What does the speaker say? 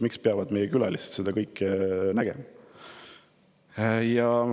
Miks peavad meie külalised seda kõike nägema?